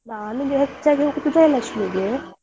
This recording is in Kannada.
ನಾನು ಇಲ್ಲಿ ಹೆಚ್ಚಾಗಿ ಹೋಗುದು ಜಯಲಕ್ಷ್ಮೀಗೆ.